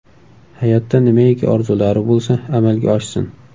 Hayotda nimaiki orzulari bo‘lsa, amalga oshsin.